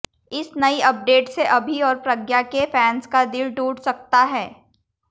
इस नई अपडेट से अभि और प्रज्ञा के फैंस का दिल टूट सकता है